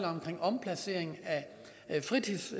omkring omplacering